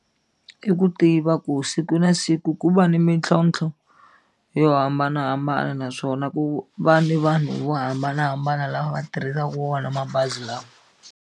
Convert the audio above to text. I ku tiva ku siku na siku ku va ni mintlhontlho yo hambanahambana naswona ku va ni vanhu vo hambanahambana lava va tirhisaka wona mabazi lawa.